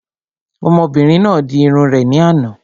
Ọmọbìnrin náà di irun rẹ̀ ní àná